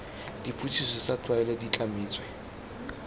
dipotsiso tsa tlwaelo di tlametswe